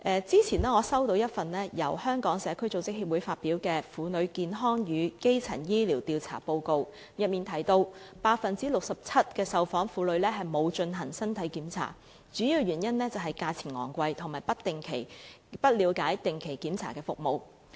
早前我收到一份由香港社區組織協會發表的《婦女健康與基層醫療調查報告》，當中提到 67% 的受訪婦女沒有進行身體檢查，主要原因是價錢昂貴，以及她們不了解定期檢查的服務。